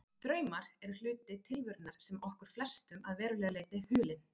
Draumar eru hluti tilverunnar sem er okkur flestum að verulegu leyti hulinn.